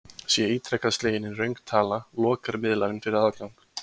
Sé ítrekað slegin inn röng tala, lokar miðlarinn fyrir aðgang.